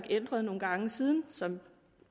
ændret nogle gange siden som